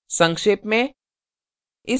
संक्षेप में